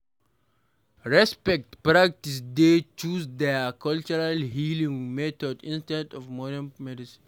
Respect patience wey choose their cultural healing method instead of modern medicine